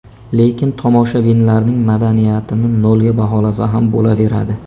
Lekin tomoshabinlarning madaniyatini nolga baholasa ham bo‘laveradi.